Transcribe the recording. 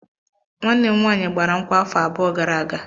Nwanne m nwanyị gbara nkwụ afọ abụọ gara aga.